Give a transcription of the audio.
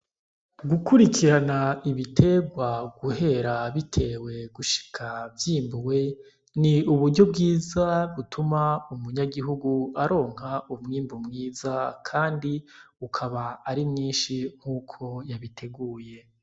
Gukurikirana ibiterwa guhera bitewe gushika vyimbuwe n'uburyo bwiza butuma umunyagihugu aronka umwimbu mwiza kandi ukaba ari mwinshi nkuko yabiteguye